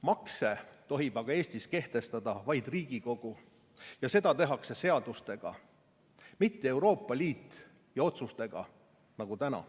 Makse tohib aga Eestis kehtestada vaid Riigikogu, mitte Euroopa Liit, ja seda tehakse seadustega, mitte otsustega nagu täna.